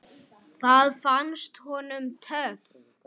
Það fannst honum töff.